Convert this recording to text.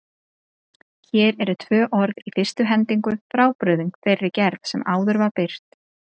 Hér eru tvö orð í fyrstu hendingu frábrugðin þeirri gerð sem áður var birt.